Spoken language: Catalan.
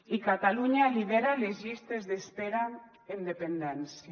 i catalunya lidera les llistes d’espera en dependència